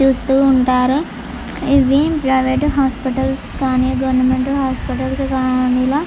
చూస్తూ ఉంటారు ఇవి ప్రవేట్ హాస్పెటల్స్ కానీ గవర్మెంట్ హాస్పెటల్స్ గని ఇలా--